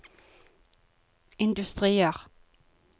industrier